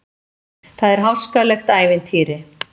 Það er háskalegt ævintýri.